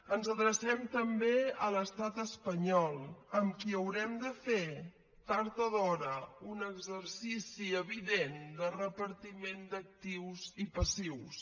ens adrecem també a l’estat espanyol amb qui haurem de fer tard o d’hora un exercici evident de repartiment d’actius i passius